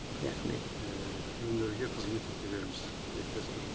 рахмет иә өнерге қызмет ете беріңіз тілектеспін